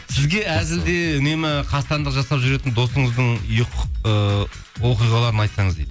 сізге әзілде үнемі қастандық жасап жүретін досыңыздың ыыы оқиғаларын айтсаңыз дейді